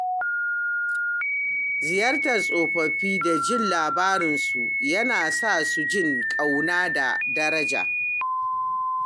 Ziyartar tsofaffi da jin labaransu yana sa su jin ƙauna da daraja.